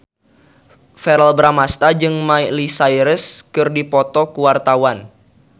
Verrell Bramastra jeung Miley Cyrus keur dipoto ku wartawan